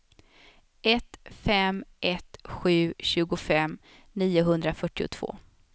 ett fem ett sju tjugofem niohundrafyrtiotvå